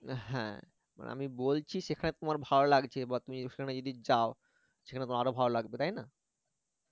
আহ হ্যা আমি বলছি সেখানে তোমার ভালো লাগছে এবার তুমি সেখানে যদি যাও সেখানে তোমার আরো ভালো লাগবে তাই না